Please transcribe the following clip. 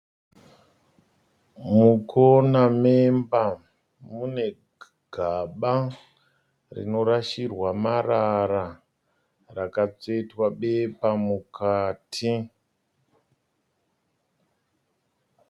Mukona memba mune gaba rinorashirwa marara rakatsvetwa bepa mukati.